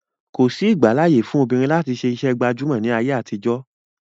Kòsí ìgbàláàyè fún obìnrin láti ṣe iṣẹ́ gbàjámọ̀ ní ayé àtijọ́.